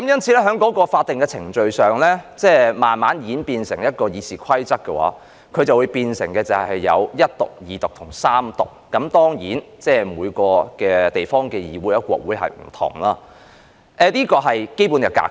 這些法定程序在我們的《議事規則》中，便演變成首讀、二讀及三讀；當然，每個地方的議會或國會做法不同，但這是基本格式。